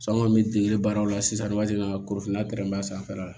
San kɔni bɛ dege baaraw la sisan ni waati min na kurunfinna kɛrɛnbɛ a sanfɛla la